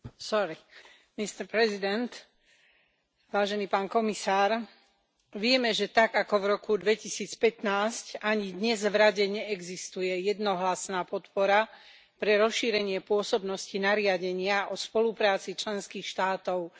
Vážený pán predsedajúci, vieme, že tak, ako v roku 2015, ani dnes v Rade neexistuje jednohlasná podpora pre rozšírenie pôsobnosti nariadenia o spolupráci členských štátov v rodinných veciach a registrované partnerstvá.